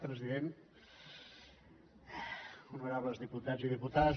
president honorables diputats i diputades